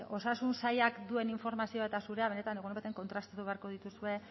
osasun sailak duen informazioa eta zurea benetan igual kontrastatu beharko dituzue